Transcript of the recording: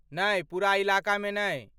नै, पूरा इलाकामे नै।